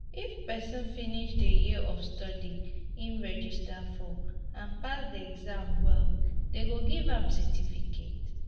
if person complete di years of studies im register for and pass di exams well dem go give am certificate